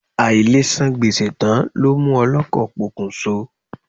Àìlesan gbèsè tán ló mú ọlọ́kọ̀ pokùnso.